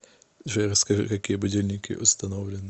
джой расскажи какие будильники установлены